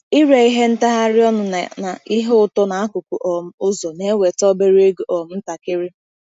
Ire ihe ntagharị ọnụ na na ihe ụtọ n'akụkụ um ụzọ na-eweta obere ego um ntakịrị.